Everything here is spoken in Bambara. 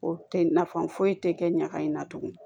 O tɛ nafa foyi tɛ kɛ ɲaga in na tugun